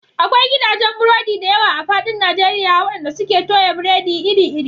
Akwai gidajen burodi da yawa a faɗin Najeriya waɗanda suke toya biredi iri-iri.